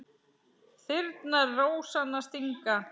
Þyrnar rósanna stinga.